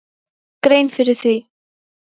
Án þess að hann gerði sér grein fyrir því.